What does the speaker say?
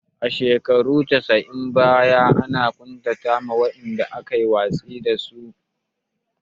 A shekarun casa'in baya ana ƙuntata wa wa'inda aka yi watsi da su